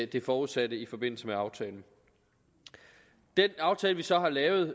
det forudsatte i forbindelse med aftalen den aftale vi så har lavet